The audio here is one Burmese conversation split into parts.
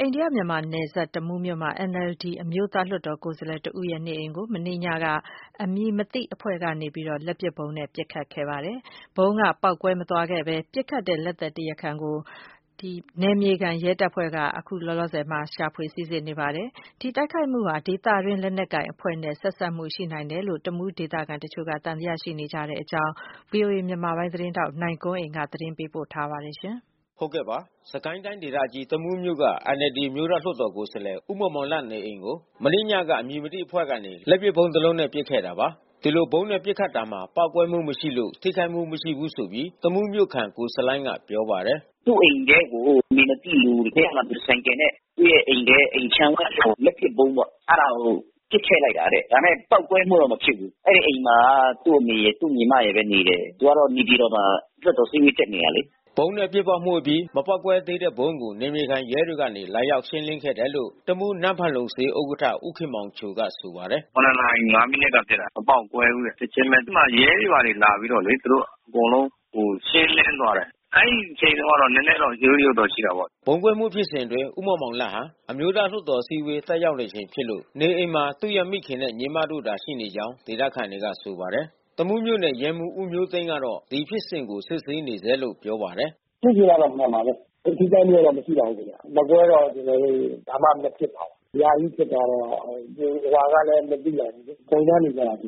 အိန္ဒိယ-မြန်မာနယ်စပ် တမူးမြို့မှာ NLD အမျိုးသားလွှတ်တော် ကိုယ်စားလှယ်တဦးရဲ့ေ နအိမ်ကို မနေ့ညက အမည်မသိ အဖွဲ့ကနေ လက်ပစ်ဗုံးနဲ့ပစ်ခဲ့မှုဖြစ်ပွား ခဲ့တာပါ။ ဒီလိုဗုံးနဲ့ ပစ်ခဲ့ရာမှာ ပေါက်ကွဲမှု မရှိခဲ့သလို နယ်မြေခံ ရဲတပ်ဖွဲ့ကနေ တရားခံကို စီစစ်နေဆဲလို့ဆိုပါတယ်။ ဒီဗုံးခွဲမှု ဖြစ်စဉ်ဟာ ဒေသတွင်းလက်နက်ကိုင် အဖွဲ့နဲ့ဆက်စပ်မှုရှိနိုင်တယ်လို့ တမူးဒေသခံ တချို့က သံသယ ရှိနေတာပါ။ ဒီအခြေအနေကို ဗွီအိုအေမြန်မာပိုင်း သတင်းထောက်နိုင်ကွန်းအိန်ကနေ သတင်းပေးပို့ ထားပါတယ်။ စစ်ကိုင်းတိုင်းဒေသကြီး တမူးမြို့က NLD အမျိုးသားလွှတ်တော်ကိုယ်စားလှယ် ဦးမောင်မောင်လတ် နေအိမ်ကို မနေ့ည က အမည်မသိအဖွဲ့ကနေ လက်ပစ်ဗုံးတလုံးနဲ့ပစ်ခဲ့တာပါ။ ဒီလိုဗုံးနဲ့ပစ်ခတ်တာမှာ ပေါက်ကွဲမှု မရှိလို့ထိခိုက်မှု မရှိဘူးဆိုပြီး တမူးမြို့ခံ ကိုဆလိုင်းကဆိုပါတယ်။ “သူ့အိမ်ထဲကို အမည်မသိလူတယောက်က ဆိုင်ကယ်နဲ့ သူ့ရဲ့အိမ်ထဲအိမ်ခြံဝင်းကို လက်ပစ်ဗုံးပေါ့ အဲတာကိုပစ်ထဲ့ လိုက်တာ။ ဒါပေမဲ့ပေါက်ကွဲမှုတော့ မဖြစ်ဘူး။ အဲဒီအိမ်မှာ သူ့အမေရယ်၊ သူ့ညီမရယ် နေတယ်။ သူကတော့ နေပြည်တော်မှာ လွှတ်တော်အစည်းဝေး တက်နေတယ်လေ။” ဗုံးနဲ့ပစ်ပေါက်မှုအပြီး မပေါက်ကွဲသေးတဲ့ဗုံးကို နယ်မြေခံရဲတွေကနေလာရောက်ရှင်းလင်းခဲ့တယ်လို့ တမူး နန်းဖာလုံဈေးဥက္ကဌ ဦးခင်မောင်ချိုကဆိုပါတယ်။ နာရီ မိနစ်က ဖြစ်တာ။ မပေါက်ကွဲဘူးတဲ့။ ချက်ချင်းဘဲ အဲဒီမှာရဲတွေကလာပြီးတော့ပေါ့လေ သူတို့အကုန်လုံး ရှင်းလင်း သွားတယ်။ ဒီအချိန်တုန်းက နဲနဲတော့ရုတ်ရုတ်တော့ရှိတာပေါ့။ ဗုံးခွဲမှုဖြစ်စဉ်အတွင်း ဦးမောင်မောင်လတ်ဟာ အမျိုးသားလွှတ်တော်အစည်းအဝေး တက်ရောက်ချိန် ဖြစ်လို့ နေအိမ်မှာ သူရဲ့မိခင်နှင့် ညီမ ဖြစ်သူတို့သာ ရှိနေကြောင်းဒေသခံတွေကဆိုပါတယ်။ တမူးမြို့နယ် ရဲမှူးဦးမျိုသိန်းက ဒီဖြစ်စဉ်ကိုစစ်ဆေးနေဆဲလို့ပြောပါတယ်။ “ဖြစ်စဉ်ကတော့မှန်ပါတယ်။ ထိခိုက်မှုတော့မရှိပါဘူးခင်ဗျ။ မကွဲပါဘူး။ ကျွန်တော်တို့ ဘာမှမဖြစ်ပါဘူး။ ညကြီးဖြစ်တာ တော့ ဘယ်သူဘယ်ဝါလဲ မသိလိုက်ဘူးလေ။ စုံစမ်းနေဆဲပါ အဲဒီ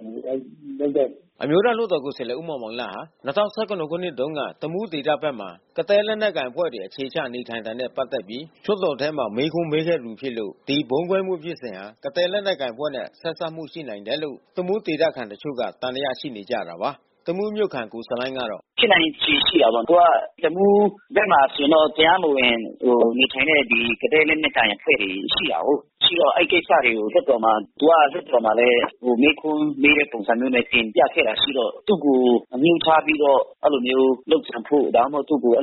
လုပ်တဲ့လူ။” အမျိုးသားလွှတ်တော်ကိုယ်စားလှယ် ဦးမောင်မောင်လတ်ဟာ ၂၀၁၇ ခုနှစ်တုန်းက တမူးဒေသဖက်မှာ ကသည်း လက် နက်ကိုင်တွေ အခြေချ နေထိုင်နေတာနဲ့ ပတ်သက်ပြီး လွှတ်တော်ထဲမှာ မေးခွန်းမေးခဲ့သူဖြစ်လို့ ဒီဗုံးခွဲမှုဖြစ်စဉ်ဟာ ကသည်းလက်နက်ကိုင် အဖွဲ့နဲ့ဆက်စပ်မှုရှိနိုင်တယ်လို့ တမူးဒေသခံတချို့က သံသယရှိနေတာပါ။ တမူးမြို့ခံ ကိုဆလိုင်းကတော့ “ဖြစ်နိုင်ချေရှိတာပေါ့။ သူက တမူးဘက်မှာဆိုရင်တော့ တရားမဝင်နေထိုင်တဲ့ ကသည်းလက်နက်ကိုင် အဖွဲ့တွေရှိ တာကိုး။ အဲဒီကိစ္စတွေကို သူကလွှတ်တော်မှာ မေးခွန်းမေးတဲ့ပုံစံမျိုးနဲ့တင်ပြခဲ့တာရှိတော့ သူ့ကိုအငြိုး ထားပြီးတော့ အဲဒီလိုမျိုးလုပ်ကြံဖို့ ဒါမှမဟုတ်သူ့ကို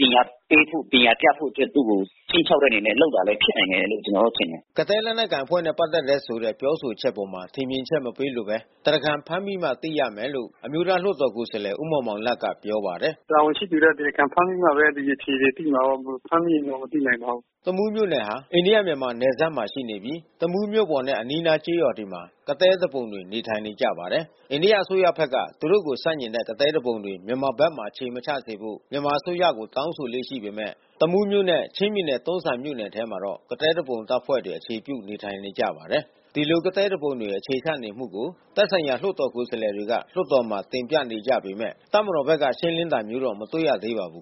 ပညာပေးဖို့ ပညာပြဖို့ အတွက် ခြိမ်းခြောက်တဲ့အနေနဲ့ လုပ်တာ ဖြစ်နိုင်တယ်လို့ကျွန်တော်တော့ထင်တယ်။” ကသည်းလက်နက်ကိုင်အဖွဲ့နဲ့ပက်သက်တယ်ဆိုတဲ့ ပြောဆိုချက်အပေါ်ထင်မြင်ချက်မပေးလိုဘဲ တရားခံဖမ်းမိမှ သိမယ်လို့ အမျိုးသားလွှတ်တော်ကိုယ်စားလှယ် ဦးမောင်မောင်လတ်ကပြောပါတယ်။ “တာဝန်ရှိသူတွေ တရားခံ ဖမ်းမိမှဘဲ ဒီအဖြေတွေသိမှာပေါ့။ မဖမ်းမိရင် မသိနိုင်ပါဘူး။” တမူးမြို့နယ်ဟာ အိန္ဒိယ မြန်မာနယ်စပ်မှာရှိနေတာဖြစ်ပြီး တမူးမြို့ပေါ်နဲ့ အနီးအနား ကျေးရွာတွေမှာ ကသည်း သူပုန်တွေ နေထိုင်နေကြပါတယ်။ အိန္ဒိယအစိုးရဖက်ကသူတို့ကို ဆန့်ကျင်တဲ့ ကသည်းသူပုန်တွေ မြန်မာဘက်ထဲ အခြေမချစေဖို့ မြန်မာအစိုးရကို တောင်းဆိုလေ့ရှိပေမဲ့ တမူးမြို့နဲ့ ချင်းပြည်နယ်တွန်းဇံမြို့နယ် မြို့နယ်ထဲမှာတော့ ကသည်းသူပုန်တပ်ဖွဲ့တွေ အခြေပြုနေထိုင်နေကြပါတယ်။ ဒီလိုကသည်းသူပုန်တွေအခြေချနေမှုကို သက်ဆိုင်ရာလွှတ်တော်ကိုယ်စားလှယ်တွေက လွှတ်တော်မှာတင်ပြနေကြ ပေမဲ့ တပ်မတော်ဘက်က ရှင်းလင်းတာမျိုးတော့မတွေ့ရသေးပါဘူး